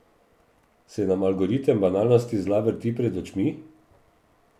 Se nam algoritem banalnosti zla vrti pred očmi?